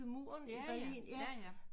Jaja jaja